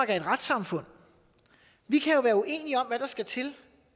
er et retssamfund vi kan jo være uenige om hvad der skal til